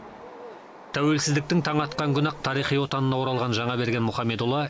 тәуелсіздіктің таңы атқан күні ақ тарихи отанына оралған жаңаберген мұхамедұлы